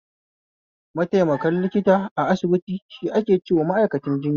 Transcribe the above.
Maitaimakon likita a asibiti shi ake cewa ma'aikacin jinya